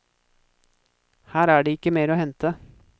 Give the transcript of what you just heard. Her er det ikke mer å hente.